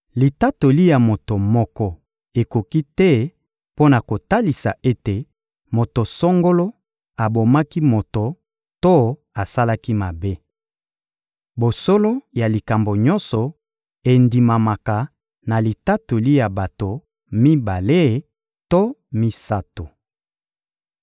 Litatoli ya moto moko ekoki te mpo na kotalisa ete moto songolo abomaki moto to asalaki mabe. Bosolo ya likambo nyonso endimamaka na litatoli ya bato mibale to misato.